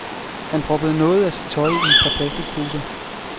Han proppede noget af sit tøj i et par plasticposer.